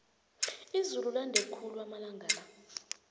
izulu lande khulu amalanga la